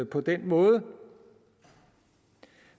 på den måde